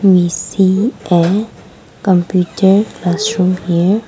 we see a computer as showned here.